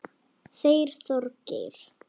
Þeir Þorgeir